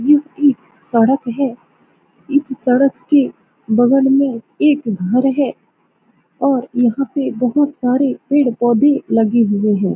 यह एक सड़क है । इस सड़क के बगल में एक घर है और यहाँ पे बहुत सारे पेड़-पौधे लगे हुए हैं ।